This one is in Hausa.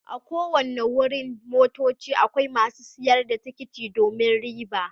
A' ko wanni wurin motocci akwai masun sayar da tikiti domin riba.